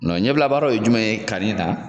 Nɔn ɲɛbila baaraw ye jumɛn ye kani na